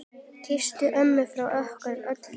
Kysstu ömmu frá okkur öllum.